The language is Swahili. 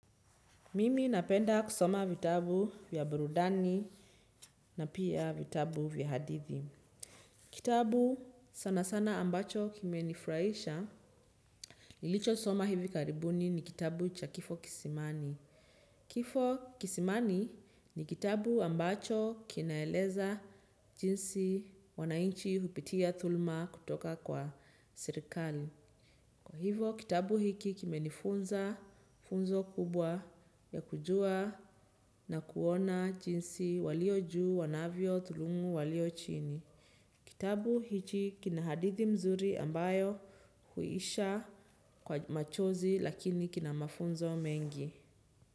Mimi napenda kusoma vitabu vya burudani na pia vitabu vya hadithi. Kitabu sana sana ambacho kimenifuraisha, nilicho soma hivi karibuni ni kitabu cha kifo kisimani. Kifo kisimani ni kitabu ambacho kinaeleza jinsi wanainchi hupitia thulma kutoka kwa sirikali. Kwa hivo, kitabu hiki kime nifunza funzo kubwa ya kujua na kuona jinsi walio juu wanavyo tulungu walio chini. Kitabu hiki kina hadithi mzuri ambayo huisha kwa machozi lakini kina mafunzo mengi.